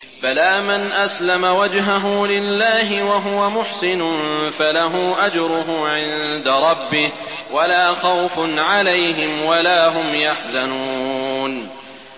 بَلَىٰ مَنْ أَسْلَمَ وَجْهَهُ لِلَّهِ وَهُوَ مُحْسِنٌ فَلَهُ أَجْرُهُ عِندَ رَبِّهِ وَلَا خَوْفٌ عَلَيْهِمْ وَلَا هُمْ يَحْزَنُونَ